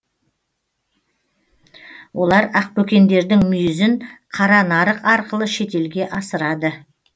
олар ақбөкендердің мүйізін қара нарық арқылы шетелге асырады